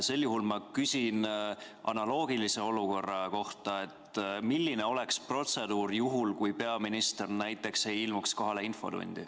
Sel juhul ma küsin analoogilise olukorra kohta: milline oleks protseduur juhul, kui peaminister näiteks ei ilmuks kohale infotundi?